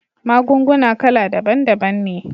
Magunguna kala daban daban ne